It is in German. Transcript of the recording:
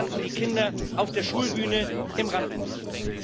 Nervös standen die Kinder auf der Schulbühne im Rampenlicht.